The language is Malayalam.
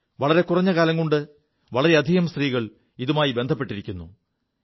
വളരെ കുറഞ്ഞ കാലംകൊണ്ട് വളരെയധികം സ്ത്രീകൾ ഇതുമായി ബന്ധപ്പെിരിക്കുു